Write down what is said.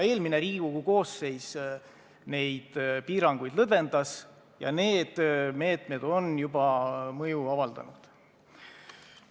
Eelmine Riigikogu koosseis neid piiranguid lõdvendas ja need meetmed on juba mõju avaldanud.